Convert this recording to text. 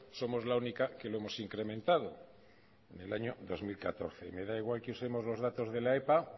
somos la única que lo hemos incrementado en el año dos mil catorce y me da igual que usemos los datos de la epa